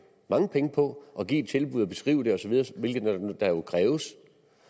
mange penge på at give et tilbud beskrive det osv hvilket kræves